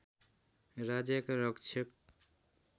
राज्यका रक्षक